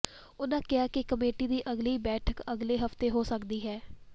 ਉਨ੍ਹਾਂ ਕਿਹਾ ਕਿ ਕਮੇਟੀ ਦੀ ਅਗਲੀ ਬੈਠਕ ਅਗਲੇ ਹਫ਼ਤੇ ਹੋ ਸਕਦੀ ਹੈ